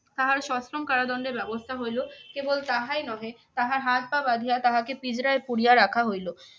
তাহার সশ্রম কারাদণ্ডের ব্যবস্থা হইল। কেবল তাহাই নহে, তাহার হাত-পা বাঁধিয়া তাহাকে পিঁজরায় পুরিয়া রাখা হইল।